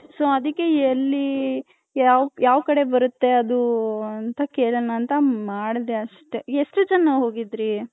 so ಅದಿಕ್ಕೆ ಎಲ್ಲಿ ಯಾವ್ ಯಾವ್ ಕಡೆ ಬರುತ್ತೆ ಅದು ಅಂತ ಕೆಳನ ಅಂತ ಮಾಡ್ದೆ ಅಷ್ಟೆ ಎಷ್ಟು ಜನ ಹೋಗಿದ್ರಿ.